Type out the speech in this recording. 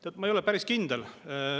Tead, ma ei ole päris kindel.